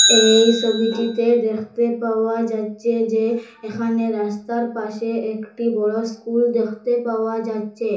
এই সবিটিতে দেখতে পাওয়া যাচ্ছে যে এখানে রাস্তার পাশে একটি বড় স্কুল দেখতে পাওয়া যাচ্ছে।